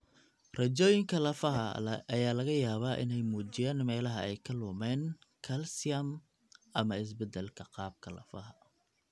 Raajooyinka lafaha ayaa laga yaabaa inay muujiyaan meelaha ay ka lumeen kalsiyum ama isbeddelka qaabka lafaha.